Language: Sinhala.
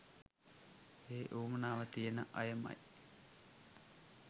ඒ උවමනාව තියන අයමයි